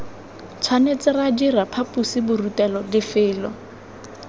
tshwanetse ra dira phaposiborutelo lefelo